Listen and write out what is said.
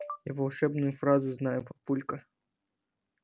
я волшебную фразу знаю папулька